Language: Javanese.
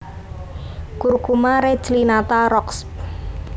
Curcuma reclinata Roxb